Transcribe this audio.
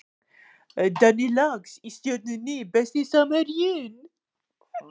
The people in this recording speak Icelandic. Danni Lax í Stjörnunni Besti samherjinn?